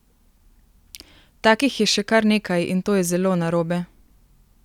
Takih je še kar nekaj in to je zelo narobe!